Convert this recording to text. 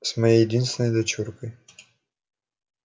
с моей единственной дочуркой